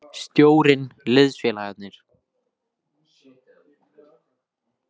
Stjórinn, liðsfélagarnir.